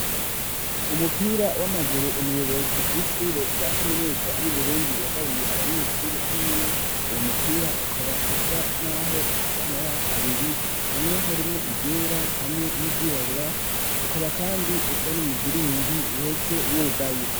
Umupira w'amaguru umuyobozi w'ishure rya kaminuza yu Burundi yagabiye abanyeshuri biwe uwo mupira ukaba usa naho ufise amabara abiri hamwe harimwo iryera hamwe n'iryirabura ukaba kandi usa n'umuziringi uhese wugaye.